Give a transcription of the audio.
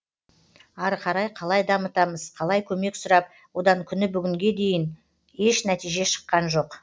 ары қарай қалай дамытамыз қалай көмек сұрап одан күні бүгінге дейін еш нәтиже шыққан жоқ